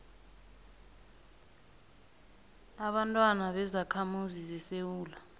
ababantwana bezakhamuzi zesewula